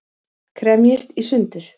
Kremjist í sundur.